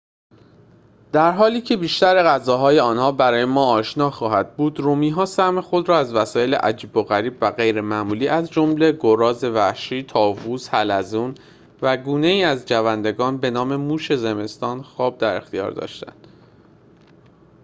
در حالی که بیشتر غذاهای آنها برای ما آشنا خواهد بود رومی ها سهم خود را از وسایل عجیب و غریب و غیر معمولی از جمله گراز وحشی طاووس حلزون و گونه ای از جوندگان بنام موش زمستان خواب در اختیار داشتند